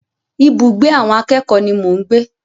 Ibùgbé àwọn akẹ́kòó ni mò ń gbé.